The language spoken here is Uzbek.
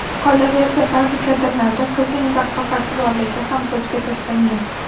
Qolaversa, ba’zi kadrlarda qizning baqbaqasi borligi ham ko‘zga tashlangan.